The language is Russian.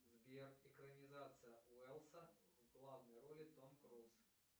сбер экранизация уэллса в главной роли том круз